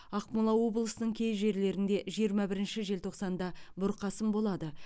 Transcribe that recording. ақмола облысының кей жерлерінде жиырма бірінші желтоқсанда бұрқасын болады